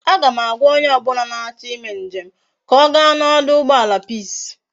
A ga m agwa onye obula na acho ime njem ka oga na oduugbala peace